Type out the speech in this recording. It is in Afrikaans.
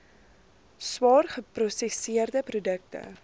swaar geprosesseerde produkte